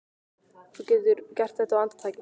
Þú getur gert þetta á andartaki.